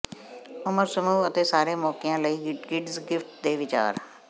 ਉਮਰ ਸਮੂਹ ਅਤੇ ਸਾਰੇ ਮੌਕਿਆਂ ਲਈ ਕਿਡਜ਼ ਗਿਫਟ ਦੇ ਵਿਚਾਰ